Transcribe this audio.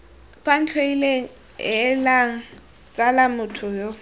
bantlhoile heelang tsala motho yo